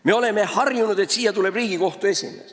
Me oleme harjunud, et siia tuleb Riigikohtu esimees.